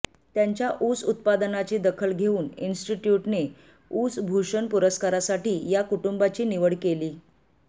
त्यांच्या ऊस उत्पादनाची दखल घेऊन इन्स्टिट्यूटने ऊस भूषण पुरस्कारासाठी या कुटुंबाची निवड केली